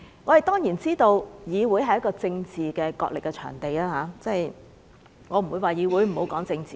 我們當然知道議會是政治角力的場地，我不會說不要在議會內談政治。